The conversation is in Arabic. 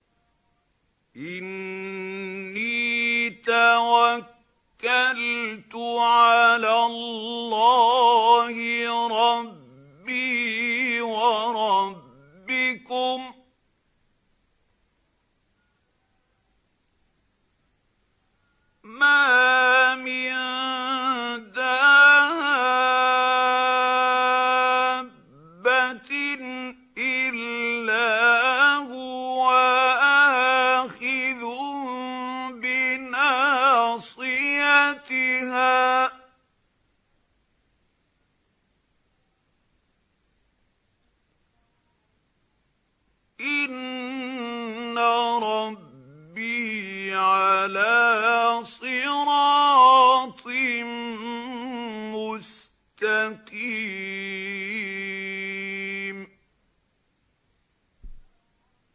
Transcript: إِنِّي تَوَكَّلْتُ عَلَى اللَّهِ رَبِّي وَرَبِّكُم ۚ مَّا مِن دَابَّةٍ إِلَّا هُوَ آخِذٌ بِنَاصِيَتِهَا ۚ إِنَّ رَبِّي عَلَىٰ صِرَاطٍ مُّسْتَقِيمٍ